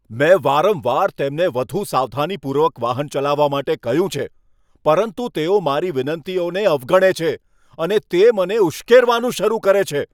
મેં વારંવાર તેમને વધુ સાવધાનીપૂર્વક વાહન ચલાવવા માટે કહ્યું છે, પરંતુ તેઓ મારી વિનંતીઓને અવગણે છે અને તે મને ઉશ્કેરવાનું શરૂ કરે છે.